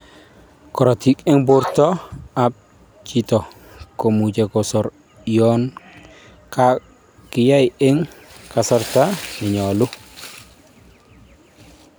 Korotik en borto ab chitoi komuche kesor yon kakinyaa en kasarta nenyolu